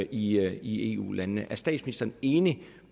i eu landene er statsministeren enig